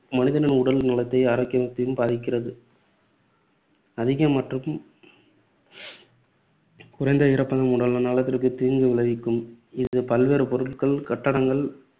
மனிதனின் உடல் நலத்தையும் ஆரோக்கியத்தையும் பாதிக்கிறது. அதிக மற்றும் குறைந்த ஈரப்பதம் உடல் நலத்திற்கு தீங்கு விளைவிக்கும். இது பல்வேறு பொருட்கள், கட்டடங்கள்,